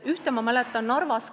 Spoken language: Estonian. Ühte mäletan ma Narvas.